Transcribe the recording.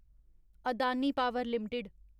Adani power limited